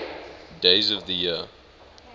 days of the year